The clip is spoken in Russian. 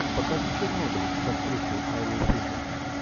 покажи чернобыль с актрисой айлой фишер